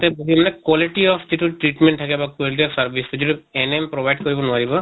তাতা বহি মানে quality of যিটো treatment থাকে বা quality of service যিটো NM provide কৰিব নোৱাৰে